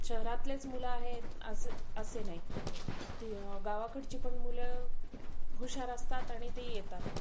शहरातलेच मुलं आहेत असं नाही. गावाकडची पण मुलं हुशार असतात आणि ती येतात.